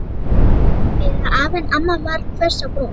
byrjaði afi en amma varð hvöss á brún.